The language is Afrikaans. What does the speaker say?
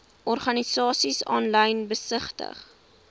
organisasies aanlyn besigtig